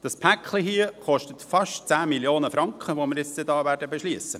Das Päcklein, über das wir nun befinden werden, kostet fast 10 Mio. Franken.